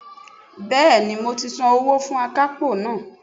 Bẹ́ẹ̀ni mo ti san owó fún akápò náà